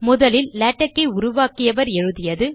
முதலில் லேடக் ஐ உருவாக்கியவர் எழுதியது